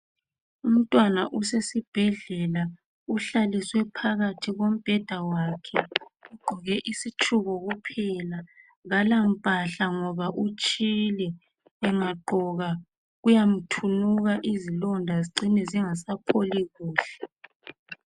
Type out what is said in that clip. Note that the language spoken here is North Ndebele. Umntwana usesibhedlela uhlale uhlaliswe phakathi kombheda wakhe ugqoke isitshuku kuphela kalampahla ngoba utshile engagqoka kuyamthunguka izilonda zicine zingasapholi kuhle